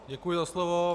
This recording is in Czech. Děkuji za slovo.